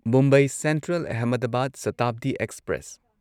Mumbai central Ahmedabad Shatabdi express